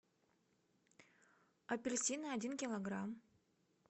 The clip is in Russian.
апельсины один килограмм